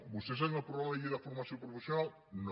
vostès han aprovat la llei de formació professional no